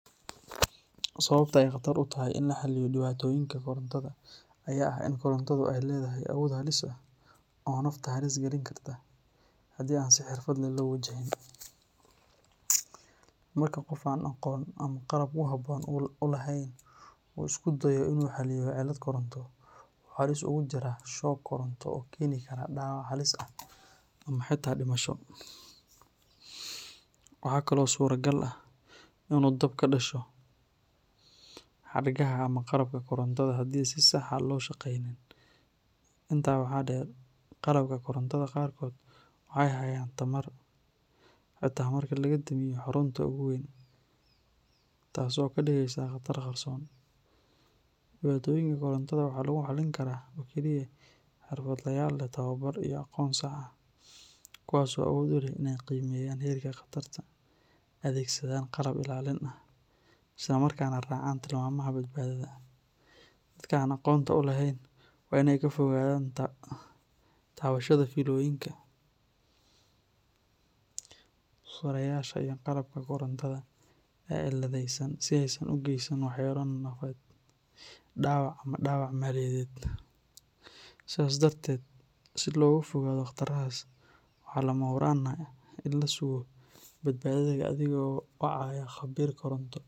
Sababta ay khatar u tahay in la xalliyo dhibaatooyinka korontada ayaa ah in korontadu ay leedahay awood halis ah oo nafta halis galin karta haddii aan si xirfad leh loo wajahinin. Marka qof aan aqoon ama qalab ku habboon u lahayn uu isku dayo in uu xalliyo cilad koronto, wuxuu halis ugu jiraa shoog koronto oo keeni kara dhaawac halis ah ama xitaa dhimasho. Waxaa kale oo suuragal ah in dab uu ka dhasho xadhkaha ama qalabka korontada haddii aan si sax ah loo shaqeynin. Intaa waxaa dheer, qalabka korontada qaarkood waxay hayaan tamar xataa marka laga damiyo xarunta ugu weyn, taas oo ka dhigaysa khatar qarsoon. Dhibaatooyinka korontada waxaa lagu xallin karaa oo keliya xirfadlayaal leh tababar iyo aqoon sax ah, kuwaas oo awood u leh in ay qiimeeyaan heerka khatarta, adeegsadaan qalab ilaalin ah, isla markaana raacaan tilmaamaha badbaadada. Dadka aan aqoonta u lahayn waa in ay ka fogaadaan taabashada fiilooyinka, furayaasha iyo qalabka korontada ee ciladaysan si aysan u geysan waxyeello nafeed, dhaawac ama dhaawac maaliyadeed. Sidaas darteed, si looga fogaado khatarahaas, waxaa lama huraan ah in la sugo badbaadada adigoo wacaya khabiir koronto.